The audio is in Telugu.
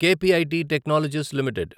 KPIT Technologies limited